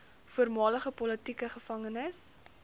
voormalige politieke gevangenes